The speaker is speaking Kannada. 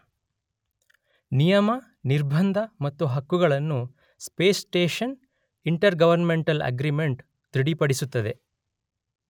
ನಿಯಮ, ನಿರ್ಬಂಧ ಮತ್ತು ಹಕ್ಕುಗಳನ್ನು space station intergovernmental agreement ದೃಢಪಡಿಸುತ್ತದೆ.